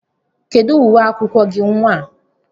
Kedụ uwe akwụkwọ gị nnwa a?